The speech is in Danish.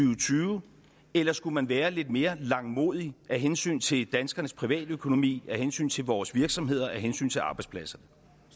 og tyve eller skulle man være lidt mere langmodig af hensyn til danskernes privatøkonomi af hensyn til vores virksomheder af hensyn til arbejdspladserne